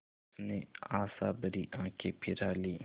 उसने आशाभरी आँखें फिरा लीं